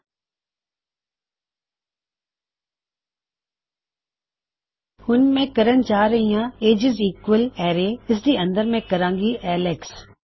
ਹੁਣ ਮੈਂ ਕਿਹਣ ਜਾ ਰਿਹਾ ਕੀ ਏਜਿਜ ਈਕਵਲਜ ਅਰੈ ਇਸਦੇ ਅੰਦਰ ਮੈਂ ਕਹਾਂਗਾ ਐਲੇਕਸ